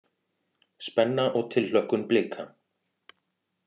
Spenna og tilhlökkun Blika